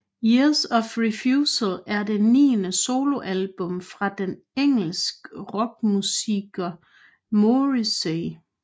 Years of Refusal er det niende soloalbum fra den engelsk rockmusiker Morrissey